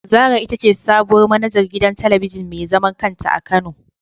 Zara itace sabuwar manajar gidan talabijin mezaman kanta a kano